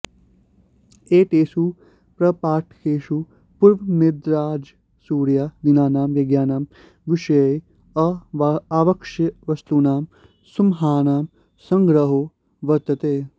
एतेषु प्रपाठकेषु पूर्वनिर्दिष्टराजसूयादीनां यज्ञानां विषये अावश्यकवस्तूनां सुमहानां सङ्ग्रहो वर्त्तते